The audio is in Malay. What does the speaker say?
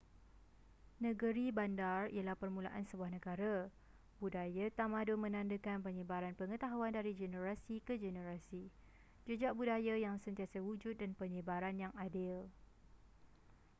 negeri-bandar ialah permulaan sebuah negara budaya tamadun menandakan penyebaran pengetahuan dari generasi ke generasi jejak budaya yang sentiasa wujud dan penyebaran yang adil